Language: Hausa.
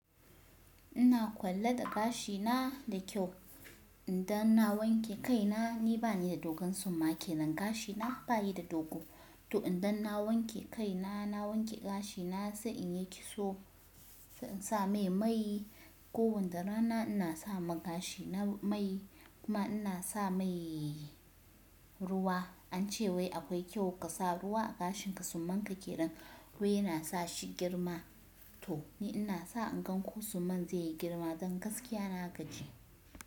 Ina kwalla da gashi na da kyau. Inda na wanke kai na, ni bani da dogon suma ke nan gashi na bayi da dogo. To idan na wanke kai na, na wanke gashi na sai in yi kitso, sai in sa mai mai. Ko wanda rana ina sa ma gashi na mai kuma ina sa mai ruwa. Ance wai akwai kyau ka sa ruwa a gashin ka suman ka kenan wai yana sa shi girma. To ni ina sa in gan ko suman zai yi girma don gaskiya na gaji.